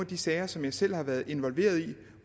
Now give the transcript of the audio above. de sager som jeg selv har været involveret i